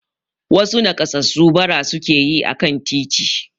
Wasu nakassasu bara suke yi akan titi.